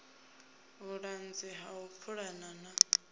vhuṱanzi ha u pulana na